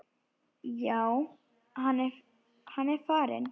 Já, hann er farinn